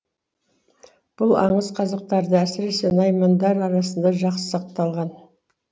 бұл аңыз қазақтарда әсіресе наймандар арасында жақсы сақталған